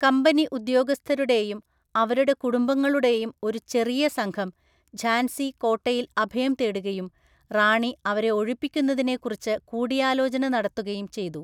കമ്പനിഉദ്യോഗസ്ഥരുടെയും അവരുടെ കുടുംബങ്ങളുടെയും ഒരു ചെറിയ സംഘം ഝാൻസി കോട്ടയിൽ അഭയം തേടുകയും റാണി അവരെ ഒഴിപ്പിക്കുന്നതിനെക്കുറിച്ച് കൂടിയാലോചന നടത്തുകയും ചെയ്തു.